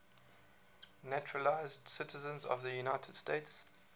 naturalized citizens of the united states